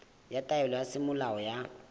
ya taelo ya semolao ya